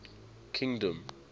kingdom